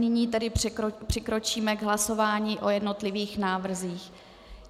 Nyní tedy přikročíme k hlasování o jednotlivých návrzích.